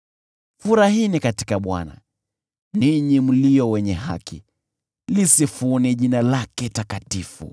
Furahini katika Bwana , ninyi mlio wenye haki, lisifuni jina lake takatifu.